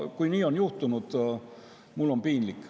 Kui nii on juhtunud, siis mul on piinlik.